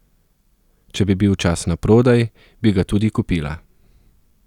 Če bi bil čas naprodaj, bi ga tudi kupila.